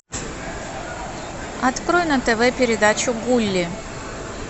открой на тв передачу гулли